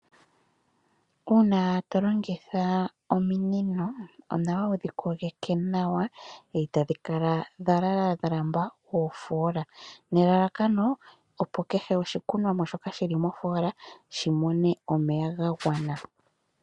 Uuna tolongitha ominino, onawa wudhi kogeke nawa dha landula oofoola, nelalakano opo oshikunomwa shoka shili mofoola, shimone omeya gagwana.